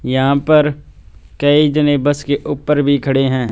यहां पर कई जने बस के ऊपर भी खड़े हैं।